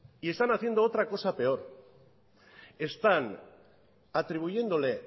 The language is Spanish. y están haciendo una cosa peor están atribuyéndole